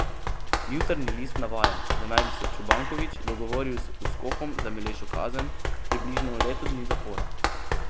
Jutarnji list navaja, da naj bi se Čobanković dogovoril z Uskokom za milejšo kazen, približno leto dni zapora.